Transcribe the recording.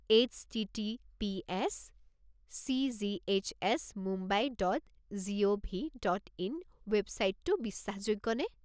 HTTPS CGHS Mumbai dot gov. Dot in ৱেবচাইটটো বিশ্বাসযোগ্য নে?